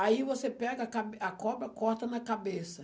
Aí você pega a ca a cobra, corta na cabeça.